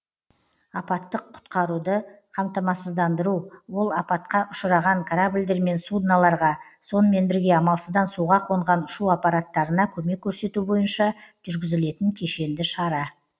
апаттық құтқаруды қамтамасыздандыру ол апатқа ұшыраған корабльдер мен судналарға сонымен бірге амалсыздан суға қонған ұшу аппараттарына көмек көрсету бойынша жүргізілетін кешенді шара